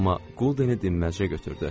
Amma goldenı dinməzcə götürdü.